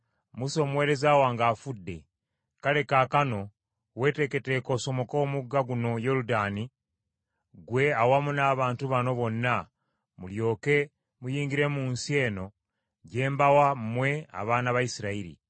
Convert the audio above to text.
“Musa omuweereza wange afudde, kale kaakano weeteeketeeke osomoke omugga guno Yoludaani ggwe awamu n’abantu bano bonna mulyoke muyingire mu nsi eno gye mbawa mmwe abaana ba Isirayiri .